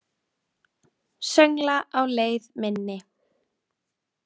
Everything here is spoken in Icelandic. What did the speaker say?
Söngla á leið minni.